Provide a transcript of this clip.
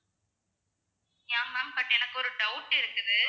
yeah ma'am but எனக்கு ஒரு doubt இருக்குது